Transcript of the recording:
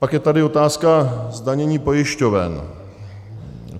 Pak je tady otázka zdanění pojišťoven.